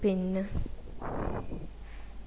പിന്നാ